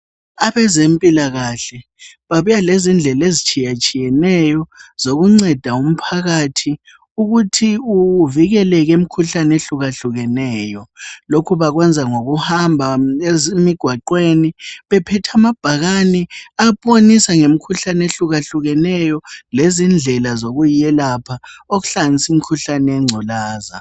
Abezempilakahle babuya lezindlela ezitshiyatshiyeneyo zokunceda umphakathi ukuthi uvikeleke emikhuhlane ehlukahlukeneyo. Lokhu bakwenza ngokuhamba emigwaqeni bephethe amabhakani abonisa ngemikhuhlane ehlukahlukeneyo lezindlela zokuyelapha okuhlanganisa imkhuhlane yengculaza.